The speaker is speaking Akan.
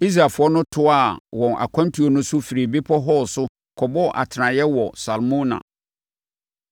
Israelfoɔ no toaa wɔn akwantuo no so firi Bepɔ Hor so kɔbɔɔ atenaeɛ wɔ Salmona.